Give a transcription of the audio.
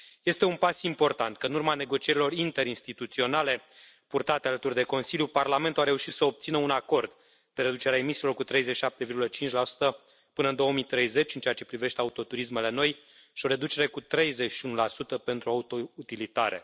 Este un pas important că în urma negocierilor interinstituționale purtate alături de Consiliu, Parlamentul a reușit să obțină un acord de reducere a emisiilor cu 37,5 până în 2030 în ceea ce privește autoturismele noi și o reducere cu 31 pentru autoutilitare.